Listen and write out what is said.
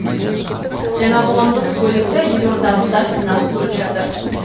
жаңа қоғамдық көлікті елордалықтар сынап көріп жатыр